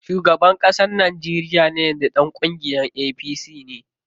Shugaban ƙasar Najeriya na yanzu ɗan kungiyar APC ne.